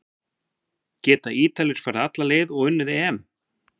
Geta Ítalir farið alla leið og unnið EM?